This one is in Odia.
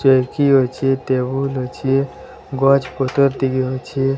ଚୌକି ଅଛି ଟେବୁଲ ଅଛି ଗଛ୍ ପତର୍ ଟିକିଏ ଅଛି।